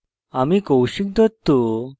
আমি কৌশিক দত্ত